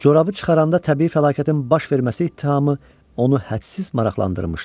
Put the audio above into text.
Corabı çıxaranda təbii fəlakətin baş verməsi ittihamı onu hədsiz maraqlandırmışdı.